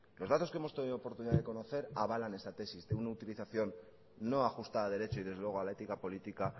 los datos que hemos tenido oportunidad de conocer avalan esta tesis de una utilización no ajustada a derecho y desde luego a la ética política